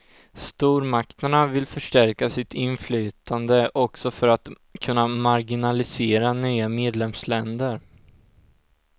Stormakterna vill förstärka sitt inflytande, också för att kunna marginalisera nya medlemsländer.